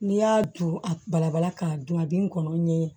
N'i y'a don a balabala k'a dun a bɛ n kɔnɔ ɲɛ